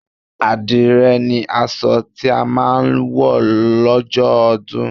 Àdìrẹ ni aṣọ tí a máa wọ̀ lọ́jọ́ ọdún